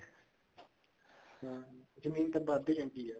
ਹਾਂ ਜਮੀਨ ਤਾਂ ਵਧ ਦੀ ਹੈਗੀ ਹੈ